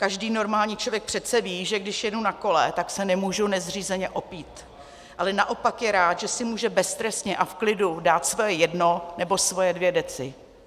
Každý normální člověk přece ví, že když jedu na kole, tak se nemůžu nezřízeně opít, ale naopak je rád, že si může beztrestně a v klidu dát svoje jedno nebo svoje dvě deci.